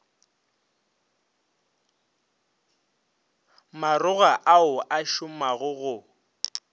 magora ao a šomago go